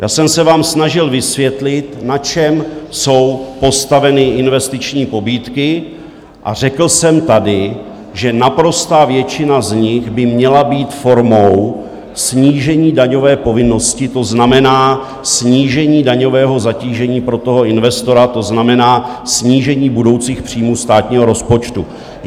Já jsem se vám snažil vysvětlit, na čem jsou postaveny investiční pobídky, a řekl jsem tady, že naprostá většina z nich by měla být formou snížení daňové povinnosti, to znamená snížení daňového zatížení pro toho investora, to znamená snížení budoucích příjmů státního rozpočtu.